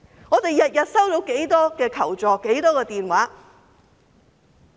我們每天收到多少個求助電話？